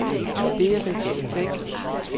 Berit Bæk